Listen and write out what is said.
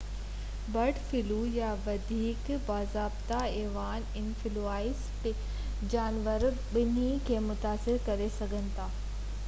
bird flu يا وڌيڪ باضابطه ايويان انفلوئينزا پکين ۽ جانورن ٻنهي کي متاثر ڪري سگهي ٿي